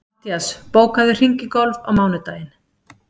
Mattías, bókaðu hring í golf á mánudaginn.